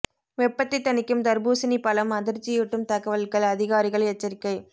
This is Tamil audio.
வெப்பத்தை தணிக்கும் தர்பூசணி பழம் அதிர்ச்சியூட்டும் தகவல்கள் அதிகாரிகள் எச்சரிக்கை